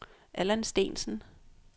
Allan Steensen